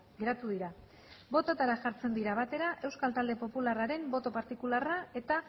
geratu dira bototara jartzen dira batera euskal talde popularraren boto partikularra eta